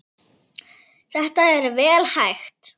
Þetta er vel hægt.